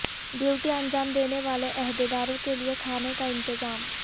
duty انجام دینے والے عہدیداروں کیلئے کھانے کا انتظام